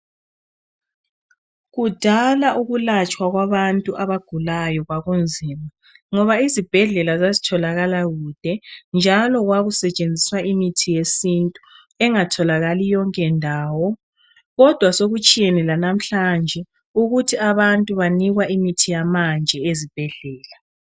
Kudala ukulatshwa kwabantu abagulayo kwakunzima, ngoba izibhedlela zazitholakala kude njalo kwakusetshenziswa imithi yesintu engatholakali yonke ndawo. Kodwa sokutshiyene lanamhlanje, ukuthi abantu banikwa imithi yamanje ezibhedlela.